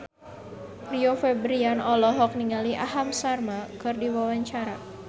Rio Febrian olohok ningali Aham Sharma keur diwawancara